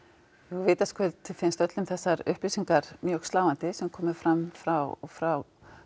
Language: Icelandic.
vitaskuld finnst öllum þessar upplýsingar mjög sláandi sem komu fram frá frá